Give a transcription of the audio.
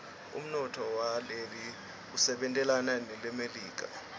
umnotfo waleli usebentelana nemelika